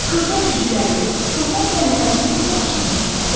Xırda cücələri, toxum dənlərini onun başına tökərdi.